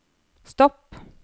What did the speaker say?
stopp